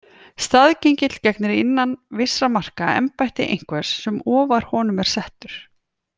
Staðgengill gegnir innan vissra marka embætti einhvers sem ofar honum er settur.